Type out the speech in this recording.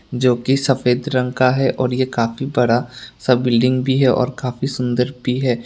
जोकि सफेद रंग का है और ये काफी बड़ा सा बिल्डिंग भी है और काफी सुंदर भी है।